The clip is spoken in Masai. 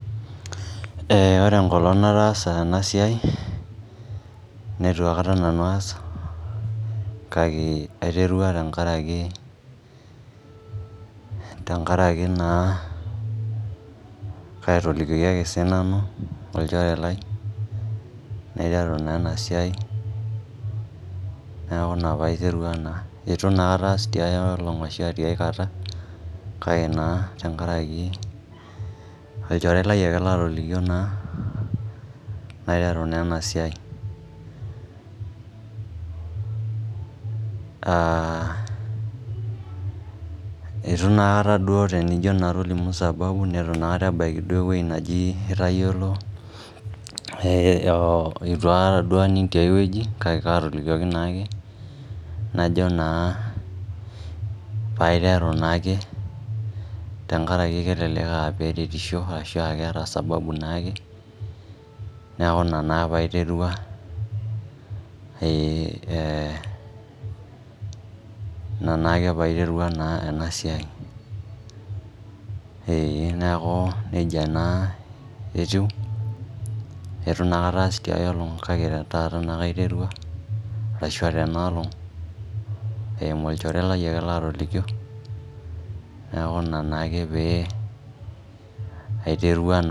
Ore enkolong' nataasa ena iai, neitu aikata nanu aas, kake aiterua enkarake naa katolikioki ake sinanu, olchore lai, naiteru naa ena siai neaku ina paiterua naa. Eitu naa aikata aas tiaiolong' ashi aikata kake naa tenkaraki olchore lai latolikio naa naiteru naa ena siai. Eitu naa aikata duo tenijo naa toliu sababu neitu naa aikata ebaiki ewueji najii itayiolou, eitu duaikata aning' tiai wueji kake aatolikioki naake najo naa paiteru naake, tenkaraki elelk eretisho arashua eke eata sababu naake, neaku ina naa paiterua naake ena siai ee neeaku neija naa etiu, eitu aikata aas te ai olong' kake te taata naake aiterua ashu aa tena olong' eimu olchore lai ake laa tolikio neaku ina naake pee aiterua.